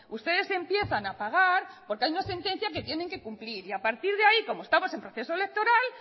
ustedes empiezan a pagar porque hay una sentencia que tienen que cumplir y a partir de ahí como estamos en proceso electoral